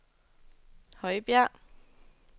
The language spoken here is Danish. Højbjerg